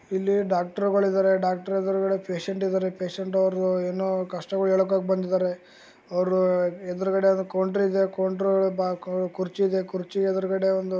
ಇಲ್ಲಿ ಡಾಕ್ಟ್ರು ಗಳಿದ್ದಾರೆ ಡಾಕ್ಟರ ಎದ್ರುಗಡೆ ಪೇಷಂಟ್ ಇದಾರೆ ಪೇಷಂಟ್ ಅವ್ರು ಏನೊ ಕಷ್ಟಗಳು ಹೆಳಕೊಕ್ ಬಂದಿದ್ದಾರೆ ಅವರ ಎದುರುಗಡೆ ಒಂದು ಕೌಂಟ್ರಿದೆ ಕೌಂಟ್ರ ಕುರ್ಚಿ ಇದೆ ಕುರ್ಚಿ ಎದುರುಗಡೆ --